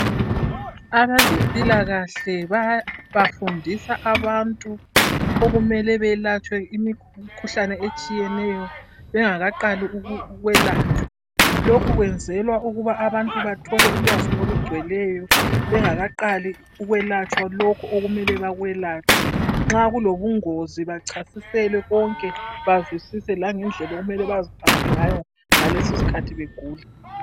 Abezempilakahle bayabafundisa abantu okumele belatshwe imikhuhlane etshiyeneyo. Bengaka qali ukwelatshwa. Lokhu kwenzelwa ukuthi abantu bathole ulwazi olugcweleyo. Bengaka qali ukwelatshwa lokho okumele bakwelatshwe. Nxa kulobungozi bachasiselww konke bazwisise langendlela okumele baziphathe ngayo ngalesi iskhathi begula.